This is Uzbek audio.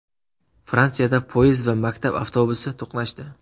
Fransiyada poyezd va maktab avtobusi to‘qnashdi.